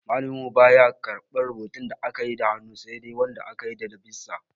Malamin mu baya karɓar rubutu da akayi da hannu sai dai wanda aka yi dab'in sa.